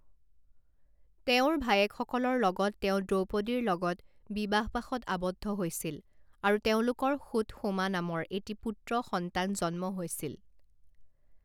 তেওঁৰ ভায়েকসকলৰ লগত তেওঁ দ্ৰৌপদীৰ লগত বিবাহপাশত আবদ্ধ হৈছিল আৰু তেওঁলোকৰ সুতসোমা নামৰ এটি পুত্ৰ সন্তান জন্ম হৈছিল।